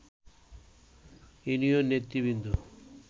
union নেতৃবৃন্দ